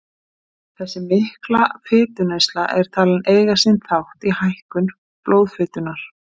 Þessi mikla fituneysla er talin eiga sinn þátt í hækkun blóðfitunnar.